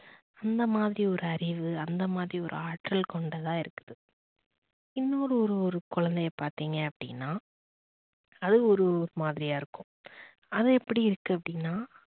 அந்த மாதிரி ஒரு அறிவு, அந்த மாதிரி ஒரு ஆற்றல் கொண்டுதா இருக்குது. இன்னொரு ஒரு குழந்தைய பார்த்தீங்க அப்படினா அது ஒரு மாதிரியா இருக்கும். அது எப்படி இருக்கு அப்படின்னா